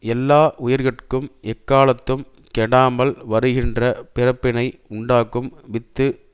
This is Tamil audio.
எல்லா உயிர்கட்கும் எக்காலத்தும் கெடாமல் வருகின்ற பிறப்பினை உண்டாக்கும் வித்து